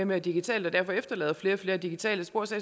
mere digitalt og derfor efterlader flere og flere digitale spor så